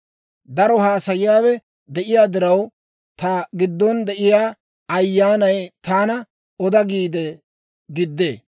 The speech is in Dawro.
Daro haasayiyaawe de'iyaa diraw, ta giddon de'iyaa ayyaanay taana oda giide giddee.